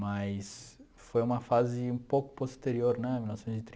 Mas foi uma fase um pouco posterior, né?